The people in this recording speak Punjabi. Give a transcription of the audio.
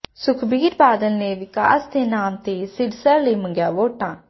ਸੁਖਬੀਰ ਬਾਦਲ ਨੇ ਵਿਕਾਸ ਦੇ ਨਾਮ ਤੇ ਸਿਰਸਾ ਲਈ ਮੰਗੀਆਂ ਵੋਟਾਂ